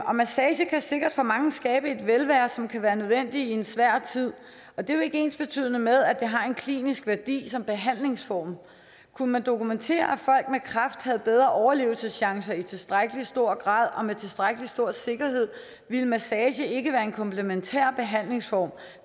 og massage kan sikkert for mange skabe et velvære som kan være nødvendigt i en svær tid men det er jo ikke ensbetydende med at det har en klinisk værdi som behandlingsform kunne man dokumentere at folk med kræft havde bedre overlevelseschancer i tilstrækkelig stor grad og med tilstrækkelig stor sikkerhed ville massage ikke være en komplementær behandlingsform